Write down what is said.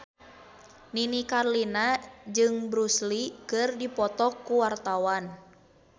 Nini Carlina jeung Bruce Lee keur dipoto ku wartawan